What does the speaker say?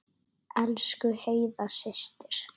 Elsku Heiða systir.